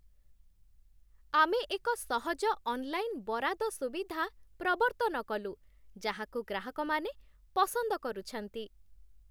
ଆମେ ଏକ ସହଜ ଅନଲାଇନ୍ ବରାଦ ସୁବିଧା ପ୍ରବର୍ତ୍ତନ କଲୁ, ଯାହାକୁ ଗ୍ରାହକମାନେ ପସନ୍ଦ କରୁଛନ୍ତି।